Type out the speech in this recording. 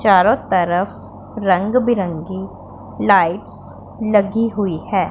चारों तरफ रंग बिरंगी लाइट्स लगी हुई हैं।